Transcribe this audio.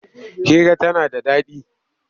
Hira tana da daɗi.